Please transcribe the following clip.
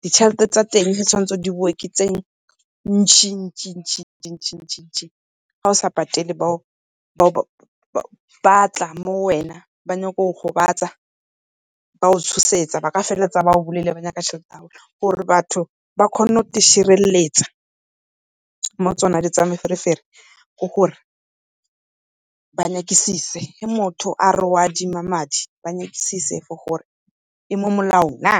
ditjhelete tsa teng di tshwanetse di boe ke tse ntsi-ntsi . Ga o sa patele ba tla mo wena ba nyaka go go gobatsa ba o tshosetsa ba ka feleletsa ba go bolaile ba nyaka tjhelete ya bone. Gore batho ba kgone go te tshireletsa mo tsona dilo tsa meferefere ke gore ba nyakisise ge motho a re o adima madi ba nyakisise for gore e mo molaong na.